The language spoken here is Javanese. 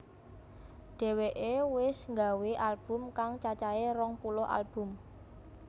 Dheweke wis nggawé album kang cacahé rong puluh album